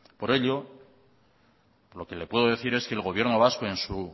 por ello lo que le puedo decir es que el gobierno vasco en su